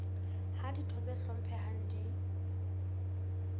ha ditho tse hlomphehang di